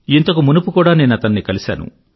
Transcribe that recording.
ఇంతకు మునుపు కూడా నేనతన్ని కలిసాను